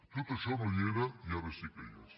tot això no hi era i ara sí que hi és